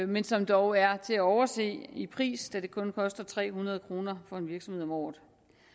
men som dog er til at overse i pris da det kun koster tre hundrede kroner for en virksomhed om året